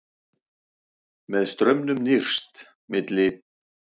Með straumnum nyrst, milli